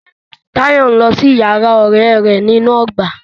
Tàyọ́ ń lọ sí yàrá ọ̀rẹ́ rẹ̀ nínú ọgbà.